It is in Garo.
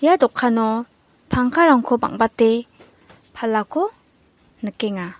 ia dokano pangkarangko bang·bate palako nikenga.